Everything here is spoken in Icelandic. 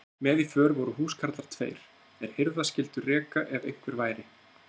Með í för voru húskarlar tveir, er hirða skyldu reka ef einhver væri.